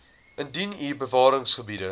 indien u bewaringsgebiede